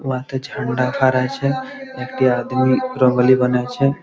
ওহাতে ঝাণ্ডা খাড়া আছে একটি আদমি রঙ্গোলী বানাচ্ছে--